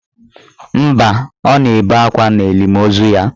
Mba, o na-ebe akwa n'elimo ozu ya.